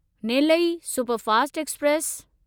Nellai superfast express